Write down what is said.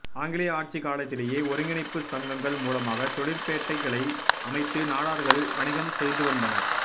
ஆங்கிலேய ஆட்சி காலத்திலேயே ஒருங்கிணைப்பு சங்கங்கள் மூலமாகத் தொழிற்பேட்டைகளை அமைத்து நாடார்கள் வணிகம் செய்துவந்தனர்